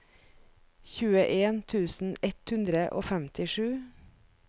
tjueen tusen ett hundre og femtisju